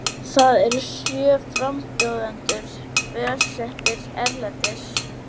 Þá eru sjö frambjóðendur búsettir erlendis